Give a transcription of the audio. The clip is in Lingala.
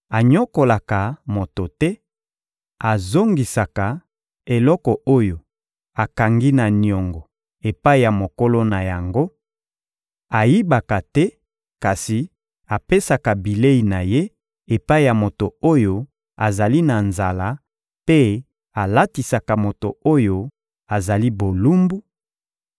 anyokolaka moto te, azongisaka eloko oyo akangaki na niongo epai ya mokolo na yango, ayibaka te kasi apesaka bilei na ye epai ya moto oyo azali na nzala mpe alatisaka moto oyo azali bolumbu;